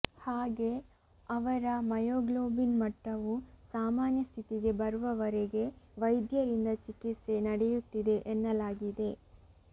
ಹಾಗೇ ಅವರ ಮಯೋಗ್ಲೋಬಿನ್ ಮಟ್ಟವು ಸಾಮಾನ್ಯ ಸ್ಥಿತಿಗೆ ಬರುವವರೆಗೆ ವೈದ್ಯರಿಂದ ಚಿಕಿತ್ಸೆ ನಡೆಯುತ್ತಿದೆ ಎನ್ನಲಾಗಿದೆ